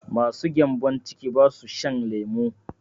Masu cutar gembon ciki basu shan lemu